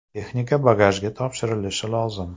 Texnika bagajga topshirilishi lozim.